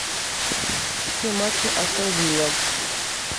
все матчи астон вилла